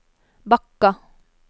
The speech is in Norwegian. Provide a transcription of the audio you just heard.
Bakka